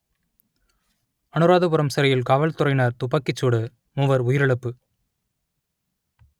அனுராதபுரம் சிறையில் காவல்துறையினர் துப்பாக்கிச் சூடு மூவர் உயிரிழப்பு